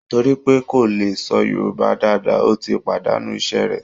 Torí pé kò lè sọ Yorùbá dáadáa, ó ti pàdànú iṣẹ́ rẹ̀